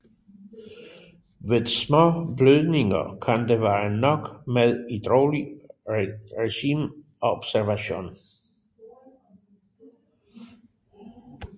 Ved små blødninger kan det være nok med et roligt regime og observation